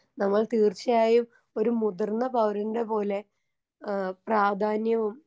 നമ്മൾ തീർച്ചയായും ഒരു മുതിർന്ന പൗരന്റെ പോലെ ഏ പ്രാധാന്യവും.